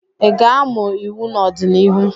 ị ga-amụ iwu n'ọdịnihu?